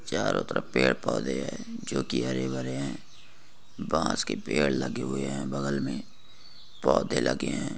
चारो तरफ पेड़ पोधे है जो की हरे भरे है बांस के पेड़ लगे हुये है बगल में पोधे लगे है।